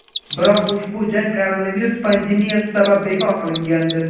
Biroq ushbu jang koronavirus pandemiyasi sabab bekor qilingandi.